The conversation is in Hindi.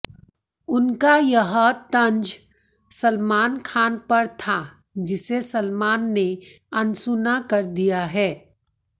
उनका यह तंज सलमान खान पर था जिसे सलमान ने अनसुना कर दिया है